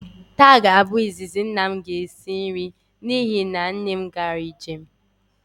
Taa ga-abụ izizi nna m ga-esi nri n'ihi na nne m gara njem